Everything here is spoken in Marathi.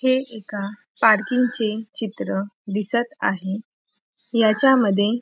हे एका पार्किंग चे चित्र दिसत आहे याच्यामध्ये --